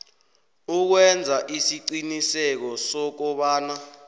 ukwenza isiqiniseko sokobana